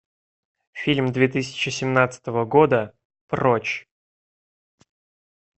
фильм две тысячи семнадцатого года прочь